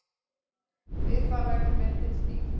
Við það verður myndin skýr.